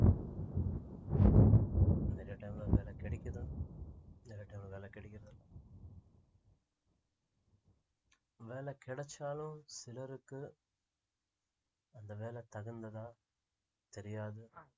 நிறைய time ல வேலை கிடைக்குதோ நிறைய time ல வேலை கிடைக்குறதில்ல வேலை கிடைச்சாலும் சிலருக்கு அந்த வேலை தகுந்ததா தெரியாது